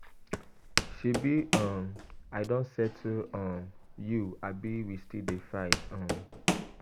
Shebi um I don settle[um] you abi we dey still fight? um